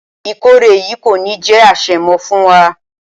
Ìkórè yìí kò ní jé àṣemọ fún wa.